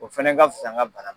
O fɛnɛ ka fisa n ka bana